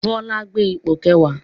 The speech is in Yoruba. Bọlá gbé ipò kẹwàá